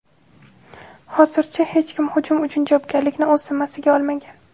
Hozircha hech kim hujum uchun javobgarlikni o‘z zimmasiga olmagan.